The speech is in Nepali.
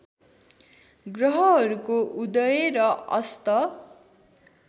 ग्रहहरूको उदय र अस्त